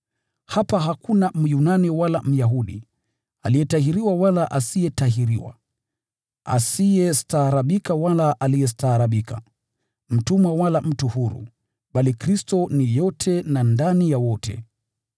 Hapa hakuna Myunani wala Myahudi, aliyetahiriwa wala asiyetahiriwa, asiyestaarabika wala aliyestaarabika, mtumwa wala mtu huru, bali Kristo ni yote, na ndani ya wote.